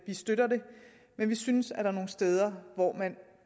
støtter det men vi synes at der er nogle steder hvor man